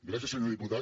gràcies senyor diputat